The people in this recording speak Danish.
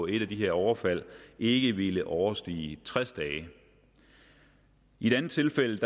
et af de her overfald ikke ville overstige tres dage i et andet tilfælde